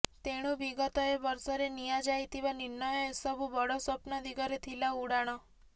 ତେଣୁ ବିଗତ ଏକ ବର୍ଷରେ ନିଆ ଯାଇଥିବା ନିର୍ଣ୍ଣୟ ଏସବୁ ବଡ଼ ସ୍ୱପ୍ନ ଦିଗରେ ଥିଲା ଉଡ଼ାଣ